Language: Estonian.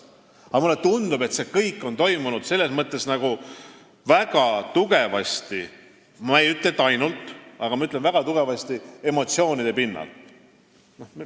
Aga mulle tundub, et see kõik on toimunud selles mõttes nagu väga tugevasti – ma ei ütle, et ainult, ma ütlen, et väga tugevasti – emotsioonide pinnal.